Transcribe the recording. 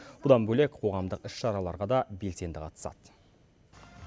бұдан бөлек қоғамдық іс шараларға да белсенді қатысады